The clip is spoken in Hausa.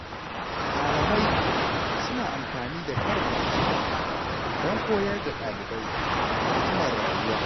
Malamai suna amfani da karin magana domin koyar da ɗalibai hikimar rayuwa.